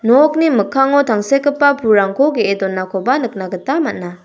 nokni mikkango tangsekgipa pulrangko ge·e donakoba nikna gita man·a.